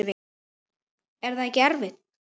Er það ekkert erfitt?